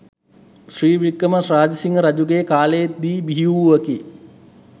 ශ්‍රී වික්‍රම රාජසිංහ රජුගේ කාලයේ දී බිහිවූවකි.